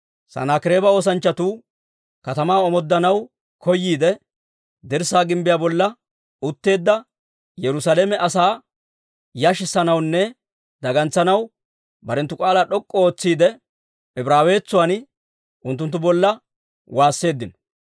Sanaakireeba oosanchchatuu katamaa omooddanaw koyiide, dirssaa gimbbiyaa bolla utteedda Yerusaalame asaa yashissanawunne dagantsanaw barenttu k'aalaa d'ok'k'u ootsiide, Ibraawetsuwaan unttunttu bolla waasseeddino.